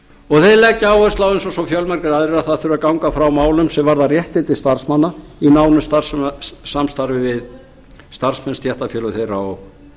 og þeir leggja áherslu á eins og fjölmargir aðrir að það þurfi að ganga frá málum sem varða réttindi starfsmanna í nánu samstarfi við starfsmenn stéttarfélög þeirra og